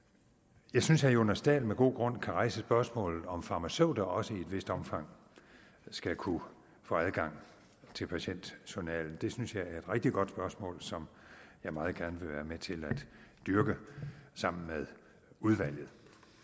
jeg synes at herre jonas dahl med god grund kan rejse spørgsmålet om hvorvidt farmaceuter også i et vist omfang skal kunne få adgang til patientjournalen det synes jeg er et rigtig godt spørgsmål som jeg meget gerne vil være med til at dyrke sammen med udvalget